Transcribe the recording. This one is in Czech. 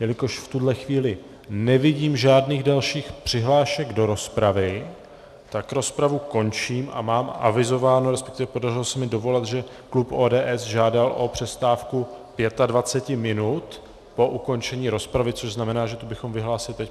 Jelikož v tuhle chvíli nevidím žádných dalších přihlášek do rozpravy, tak rozpravu končím a mám avizováno, respektive podařilo se mi dovolat, že klub ODS žádal o přestávku 25 minut po ukončení rozpravy, což znamená, že tu bychom vyhlásili teď.